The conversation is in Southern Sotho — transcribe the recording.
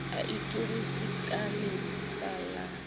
a ithorise ka lefeela la